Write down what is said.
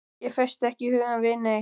Ég festi ekki hugann við neitt.